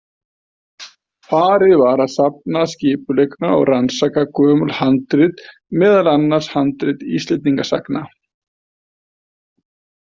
Farið var að safna skipulega og rannsaka gömul handrit meðal annars handrit Íslendingasagna.